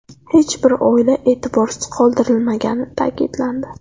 Hech bir oila e’tiborsiz qoldirilmagani ta’kidlandi.